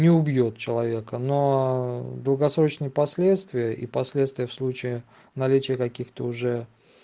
не убьёт человека но долгосрочные последствия и последствия в случае наличия каких-то уже